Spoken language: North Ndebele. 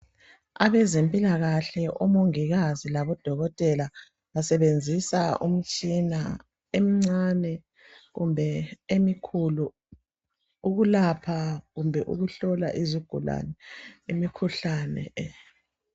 Abezempilakahle, omongikazi, labodokotela, basebenzisa imitshina emincane kumbe emikhulu ukulapha kumbe ukuhlola izigulane imikhuhlane.